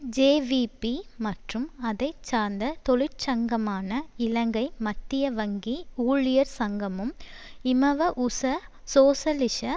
JVP மற்றும் அதை சார்ந்த தொழிற்சங்கமான இலங்கை மத்திய வங்கி ஊழியர் சங்கமும் இமவஊச சோசலிச